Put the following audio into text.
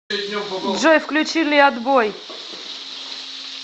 джой включи леадбой